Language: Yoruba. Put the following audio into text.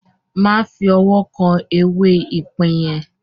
Má fi ọwọ́ kan “ ewé ipín ” yẹn!